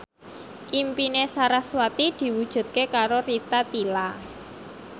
impine sarasvati diwujudke karo Rita Tila